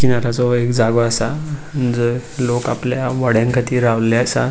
किनार्याचो वो एक जागो आसा जय लोक आपल्या वोड्यांक खातीर रावल्ले आसा.